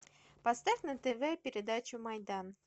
поставь на тв передачу майдан